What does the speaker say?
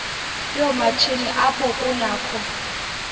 yoomatshini apho kunakho